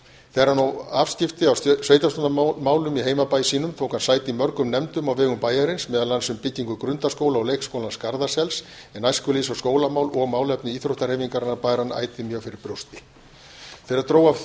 þegar hann hóf afskipti af sveitarstjórnarmálum í heimabæ sínum tók hann sæti í mörgum nefndum á vegum bæjarins meðal annars um byggingu grundaskóla og leikskólans garðasels en æskulýðs og skólamál og málefni íþróttahreyfingarinnar bar hann ætíð mjög fyrir brjósti þegar dró að